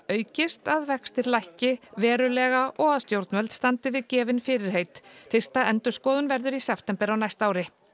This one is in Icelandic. aukist að vextir lækki verulega og að stjórnvöld standi við gefin fyrirheit fyrsta endurskoðun verður í september á næsta ári